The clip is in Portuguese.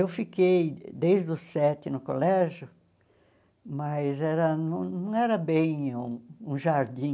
Eu fiquei desde os sete no colégio, mas era não não era bem um jardim.